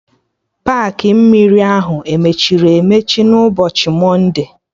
Paakị mmiri ahụ emechiri emechi n'ụbọchị mọnde?